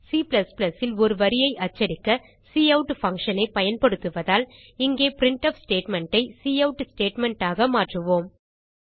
C ல் ஒரு வரியை அச்சடிக்க கவுட்ல்ட்ல்ட் பங்ஷன் ஐ பயன்படுத்துவதால் இப்போது பிரின்ட்ஃப் ஸ்டேட்மெண்ட் ஐ கவுட் ஸ்டேட்மெண்ட் ஆக மாற்றுவோம்